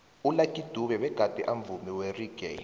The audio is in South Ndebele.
ulucky dube begade amvumi weraggae